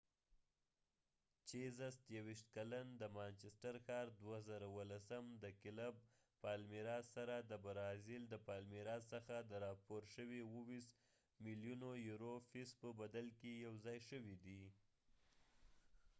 چېزس یوېشت کلن د مانچسټر ښار2017 سره د برازیل د پالمیراسpalmiras د کلب څخه د راپور شوي 27 ملیونو یورو فیس په بدل کې یو ځای شوي دي